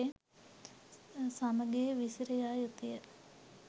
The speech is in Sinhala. සමගිව විසිර යා යුතුය.